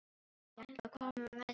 Ég ætla að koma með þér!